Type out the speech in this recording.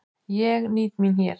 Ég nýt mín hér.